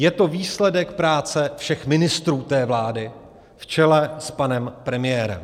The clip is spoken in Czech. Je to výsledek práce všech ministrů té vlády v čele s panem premiérem.